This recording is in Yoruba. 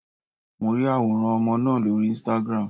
Mo ri àwòrán ọmọ náà lórí Instagram.